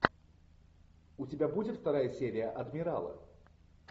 у тебя будет вторая серия адмирала